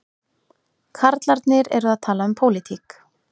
Karlarnir eru að tala um pólitík